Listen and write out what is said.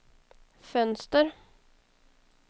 fönster